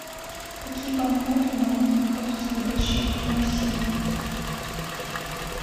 какие банкноты и монеты находятся в обращении в россии